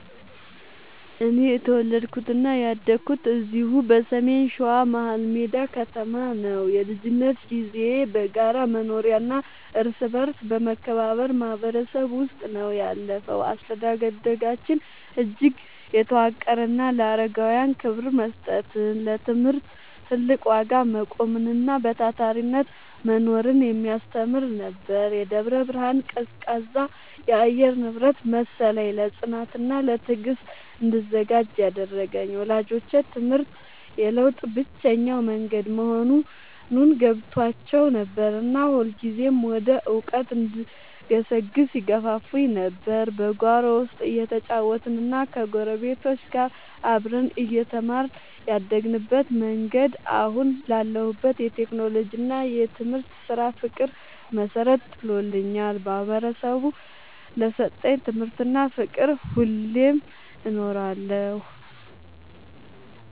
እኔ የተወለድኩትና ያደግኩት እዚሁ በሰሜን ሸዋ፣ መሀልሜዳ ከተማ ነው። የልጅነት ጊዜዬ በጋራ መኖሪያና እርስ በርስ በመከባበር ማህበረሰብ ውስጥ ነው ያለፈው። አስተዳደጋችን እጅግ የተዋቀረና ለአረጋውያን ክብር መስጠትን፣ ለትምህርት ትልቅ ዋጋ መቆምንና በታታሪነት መኖርን የሚያስተምር ነበር። የደብረ ብርሃን ቀዝቃዛ የአየር ንብረት መሰለኝ፣ ለጽናትና ለትዕግስት እንድዘጋጅ ያደረገኝ። ወላጆቼ ትምህርት የለውጥ ብቸኛው መንገድ መሆኑን ገብቷቸው ነበርና ሁልጊዜም ወደ እውቀት እንድገሰግስ ይገፋፉኝ ነበር። በጓሮ ውስጥ እየተጫወትንና ከጎረቤቶች ጋር አብረን እየተማርን ያደግንበት መንገድ፣ አሁን ላለሁበት የቴክኖሎጂና የትምህርት ስራ ፍቅር መሰረት ጥሎልኛል። ማህበረሰቡ ለሰጠኝ ትምህርትና ፍቅር ሁሌም እኖራለሁ።